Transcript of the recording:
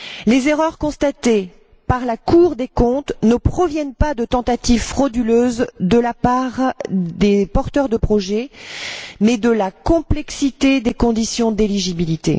Les erreurs constatées par la Cour des comptes ne proviennent pas de tentatives frauduleuses de la part des porteurs de projets mais de la complexité des conditions d'éligibilité.